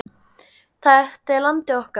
Þetta er landið okkar.